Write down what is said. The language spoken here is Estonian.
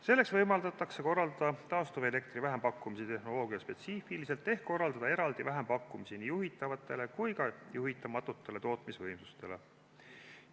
Selleks võimaldatakse korraldada taastuvelektri vähempakkumisi tehnoloogiaspetsiifiliselt ehk korraldada eraldi vähempakkumisi nii juhitavatele kui ka juhitamatutele tootmisvõimsustele.